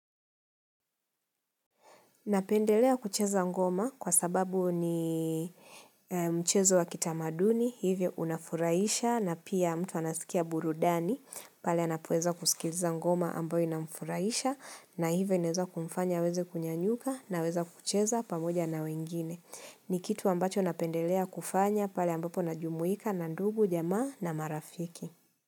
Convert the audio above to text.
Napendelea kucheza ngoma kwa sababu ni mchezo wa kitamaduni, hivyo unafurahisha na pia mtu anasikia burudani, pale anapoweza kusikiliza ngoma ambayo inamfuraisha na hivyo inaweza kumfanya aweze kunyanyuka na weza kucheza pamoja na wengine. Ni kitu ambacho napendelea kufanya pale ambapo najumuika na ndugu, jamaa na marafiki.